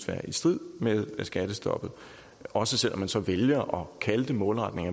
være i strid med skattestoppet også selv om man så vælger at kalde det målretning